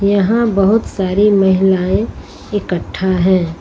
यहां बहोत सारी महिलाएं इकट्ठा है।